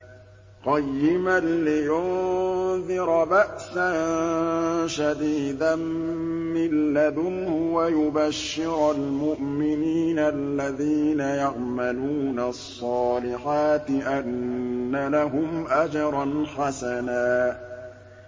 قَيِّمًا لِّيُنذِرَ بَأْسًا شَدِيدًا مِّن لَّدُنْهُ وَيُبَشِّرَ الْمُؤْمِنِينَ الَّذِينَ يَعْمَلُونَ الصَّالِحَاتِ أَنَّ لَهُمْ أَجْرًا حَسَنًا